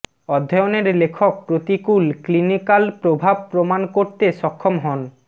অধ্যয়নের লেখক প্রতিকূল ক্লিনিকাল প্রভাব প্রমাণ করতে সক্ষম হন